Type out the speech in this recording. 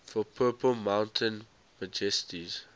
for purple mountain majesties